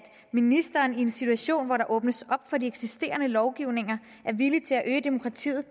ministeren i en situation hvor der åbnes for de eksisterende lovgivninger er villig til at øge demokratiet